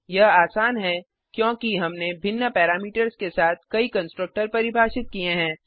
यह आसान है क्योंकि हमने भिन्न पैरामीटर्स के साथ कई कंस्ट्रक्टर परिभाषित किये हैं